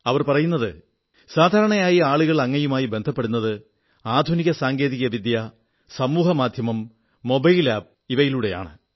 അവർ പറയുന്നത് സാധാരണയായി ആളുകൾ അങ്ങയുമായി ബന്ധപ്പെടുന്നത് ആധുനിക സാങ്കേതിക വിദ്യ സമൂഹമാധ്യമം മൊബൈൽ ആപ് കളിലൂടെയാണ്